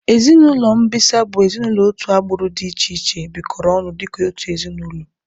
Ezinaụlọ mbisa bụ ezinaụlọ otu agbụrụ dị iche iche bikoro ọnụ dịka otu ezinaụlọ